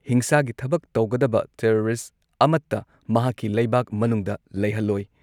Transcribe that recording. ꯍꯤꯡꯁꯥꯒꯤ ꯊꯕꯛ ꯇꯧꯒꯗꯕ ꯇꯦꯔꯣꯔꯤꯁꯠ ꯑꯃꯠꯇ ꯃꯍꯥꯛꯀꯤ ꯂꯩꯕꯥꯛ ꯃꯅꯨꯡꯗ ꯂꯩꯍꯜꯂꯣꯏ ꯫